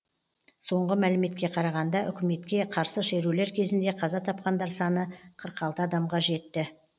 соңғы мәліметке қарағанда үкіметке қарсы шерулер кезінде қаза тапқандар саны қырық алты адамға жетті